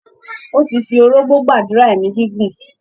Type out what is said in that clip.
Ó ti fi orógbó gbàdúrà èmí gígùn.